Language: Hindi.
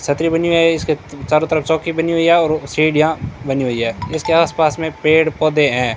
छतरी बनी हुई है इसके चारों तरफ चौकी बनी हुई है और सीढियाँ बनी हुई है जिसके आस पास में पेड़ पौधे हैं।